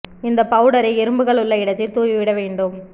இந்த பவுடரை எறும்புகள் உள்ள இடத்தில் தூவி விட வேண்டும்